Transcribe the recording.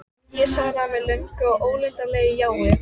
Ég svaraði með löngu og ólundarlegu jái.